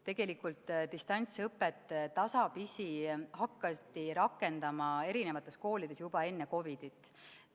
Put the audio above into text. Tegelikult hakati distantsõpet koolides tasapisi rakendama juba enne COVID-it.